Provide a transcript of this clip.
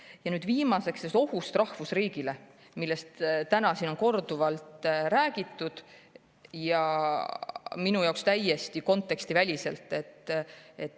Ja nüüd viimaseks ohust rahvusriigile, millest täna on siin korduvalt räägitud ja minu arvates täiesti kontekstiväliselt.